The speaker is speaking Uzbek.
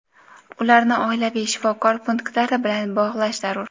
ularni oilaviy shifokor punktlari bilan bog‘lash zarur.